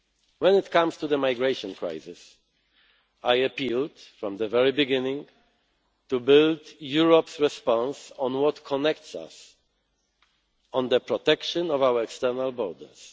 When it comes to the migration crisis, I appealed from the very beginning to build Europe's response on what connects us on the protection of our external borders.